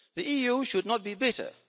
The EU should not be bitter.